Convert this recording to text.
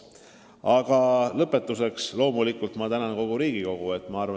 Aga lõpetuseks ma tänan kogu Riigikogu.